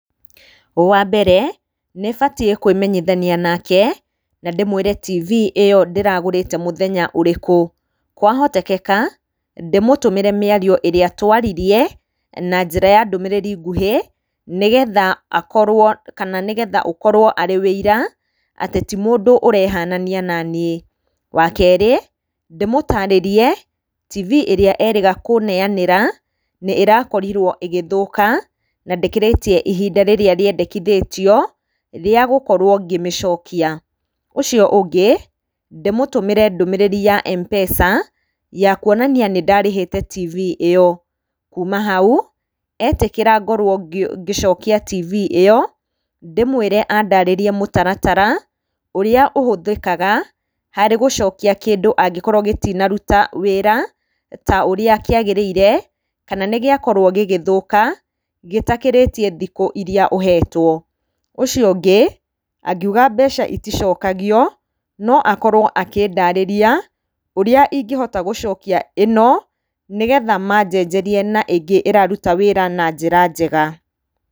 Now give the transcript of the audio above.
Wa mbere, nĩbatiĩ kũĩmenyithania nake, na ndĩmwĩre tibi ĩyo ndĩragũrĩte mũthenya ũrĩkũ, kwahotekeka, ndĩmũtũmĩre mĩario ĩrĩa twaririe, na njĩra ya ndũmĩrĩri nguhĩ, nĩgetha akorwo, kana nĩgetha ũkorwo arĩ ũira, atĩ ti mũndũ ũrehanania naniĩ. Wa kerĩ, ndĩmũtarĩrie tibi ĩrĩa erĩga kũneyanĩra, nĩ ĩrakorirwo ĩgĩthũka, na ndĩkĩrĩtie ihinda rĩrĩa rĩandĩkithitio, rĩa gũkorwo ngĩmĩcokia. Ũcio ũngĩ, ndĩmũtũmĩre ndũmĩrĩri ya M-pesa, ya kuonania nĩ ndarĩhĩte tibi ĩyo. Kuuma hau, etĩkĩra ngorwo ngĩcokia tibi ĩyo, ndĩmwĩre andarĩrie mũtaratara, ũrĩa ũhũthĩkaga, harĩ gũcokia kĩndũ angĩkorwo gĩtinaruta wĩra ta ũrĩa kĩagĩrĩire, kana gĩakorwo gĩgĩthũka, gĩtakĩrĩtie thikũ irĩa ũhetwo. Ũcio ũngĩ, angiuga mbeca iticokagio, no akorwo akĩndarĩria, ũrĩa ingĩhota gũcokia ĩno, nĩgetha manjenjerie na ingĩ ĩraruta wĩra na njĩra njega.